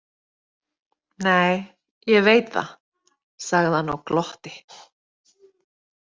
Nei, ég veit það, sagði hann og glotti.